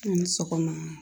A' ni sɔgɔma.